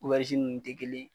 nunnu te kelen ye.